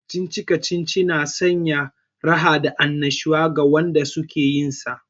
Kacici-kacici na sanya raha da annashuwa ga wanda suke yinsa